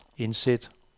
indsæt